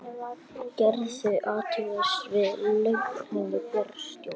Gerðu athugasemd við launahækkun bæjarstjóra